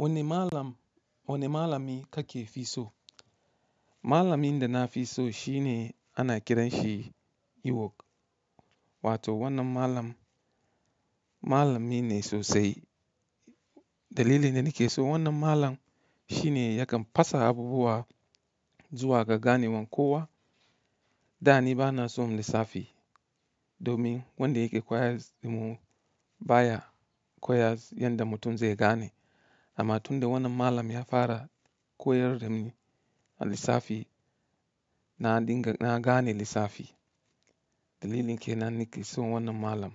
Wanne malam, wanni malami ka ke fi so? Malami da na fi so shi ne ana kiran shi iwok, wato wannan malam, malami ne sosai. Dalilin da nake so wannan malam shi ne yakan fasa abubuwa zuwa ga ganewan kowa. Da ni bana son lissafi domin wanda yake koyas damu baya koyas yadda mutum ze gane. Amma tunda wannan malam ya fara koyar da ni lissafi, na dinga na gane lissafi. Dalilin ke nan nake son wannan malam.